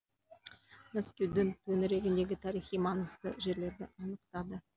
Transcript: мәскеудің төңірегіндегі тарихи маңызды жерлерді анықтады